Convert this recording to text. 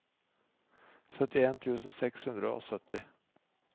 syttien tusen seks hundre og sytti